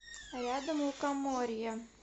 рядом лукоморье